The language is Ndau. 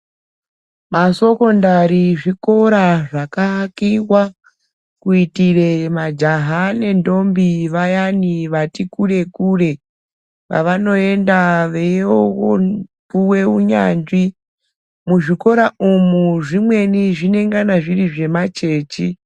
Masokondari zvikora zvakaakiwa kuitira majaha nendombi vayani vati kure kure kwavanoenda veiyopuwe unyanzvi muzvikora umwu zvimweni zvinengana zviri zvemachechi.